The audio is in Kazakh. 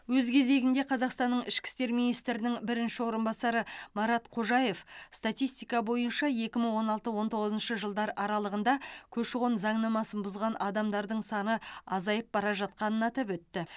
өз кезегінде қазақстанның ішкі істер министрінің бірінші орынбасары марат қожаев статистика бойынша екі мың он алты он тоғызыншы жылдар аралығында көші қон заңнамасын бұзған адамдар саны азайып бара жатқанын атап өтті